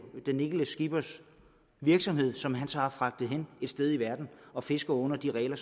den enkelte skippers virksomhed som han så har fragtet hen et sted i verden og fisker under de regler